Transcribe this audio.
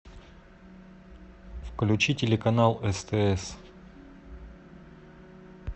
включи телеканал стс